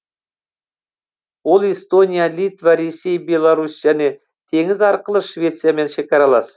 ол эстония литва ресей беларусь және теңіз арқылы швециямен шекаралас